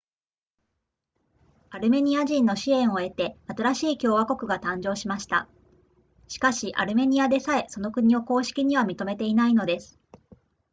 アルメニア人の支援を得て新しい共和国が誕生しましたしかしアルメニアでさえその国を公式には認めていないのです